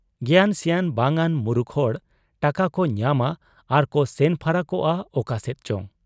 ᱜᱮᱭᱟᱱ ᱥᱮᱭᱟᱱ ᱵᱟᱝᱟᱱ ᱢᱩᱨᱩᱠ ᱦᱚᱲ ᱾ ᱴᱟᱠᱟᱠᱚ ᱧᱟᱢᱟ ᱟᱨ ᱠᱚ ᱥᱮᱱ ᱯᱷᱟᱨᱟᱠᱚᱜ ᱟ ᱚᱠᱟᱥᱮᱫ ᱪᱚ ᱾